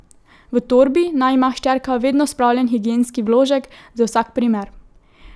V torbi naj ima hčerka vedno spravljen higienski vložek, za vsak primer.